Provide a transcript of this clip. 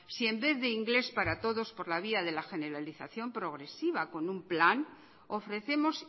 si en vez de inglés para todos por la vía de la generalización progresiva con un plan ofrecemos